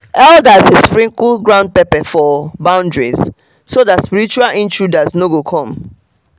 elders dey sprinkle ground pepper for boundaries so that spiritual intruders no go come.